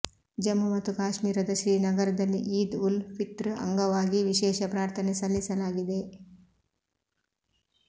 ಜಮ್ಮು ಮತ್ತು ಕಾಶ್ಮೀರದ ಶ್ರೀನಗರದಲ್ಲಿ ಈದ್ ಉಲ್ ಫಿತ್ರ್ ಅಂಗವಾಗಿ ವಿಶೇಷ ಪ್ರಾರ್ಥನೆ ಸಲ್ಲಿಸಲಾಗಿದೆ